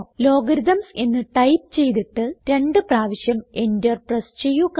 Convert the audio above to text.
Logarithms എന്ന് type ചെയ്തിട്ട് രണ്ട് പ്രാവശ്യം എന്റർ പ്രസ് ചെയ്യുക